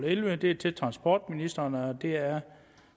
ellevte det er til transportministeren og det er